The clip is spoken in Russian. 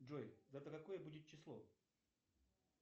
джой завтра какое будет число